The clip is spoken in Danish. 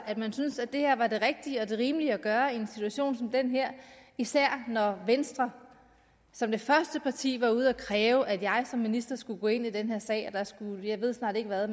at man syntes at det her var det rigtige og rimelige at gøre i en situation som den her især når venstre som det første parti var ude at kræve at jeg som minister skulle gå ind i den her sag og at man skulle jeg ved snart ikke hvad